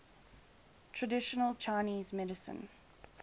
traditional chinese medicine